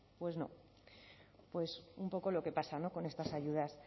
pues no pues un poco lo que pasa con estas ayudas